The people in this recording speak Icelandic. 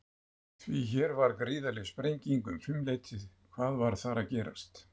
Því hér var gríðarleg sprenging um fimm leytið, hvað var þar að gerast?